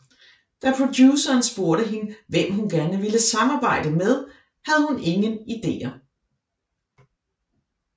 Da produceren spurgte hende hvem hun gerne ville samarbejde med havde hun ingen ideer